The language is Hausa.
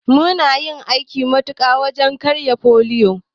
Mum yi aiki tuƙuru wajen yaƙar foliyo.